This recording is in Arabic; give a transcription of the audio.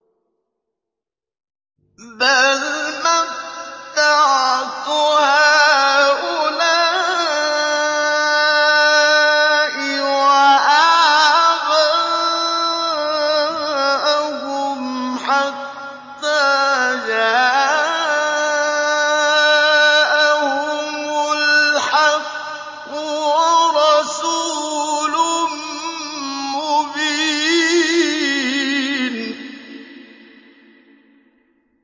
بَلْ مَتَّعْتُ هَٰؤُلَاءِ وَآبَاءَهُمْ حَتَّىٰ جَاءَهُمُ الْحَقُّ وَرَسُولٌ مُّبِينٌ